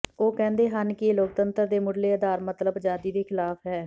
ਉਹ ਕਹਿੰਦੇ ਹਨ ਕਿ ਇਹ ਲੋਕਤੰਤਰ ਦੇ ਮੁੱਢਲੇ ਆਧਾਰ ਮਤਲੱਬ ਆਜ਼ਾਦੀ ਦੇ ਖਿਲਾਫ ਹੈ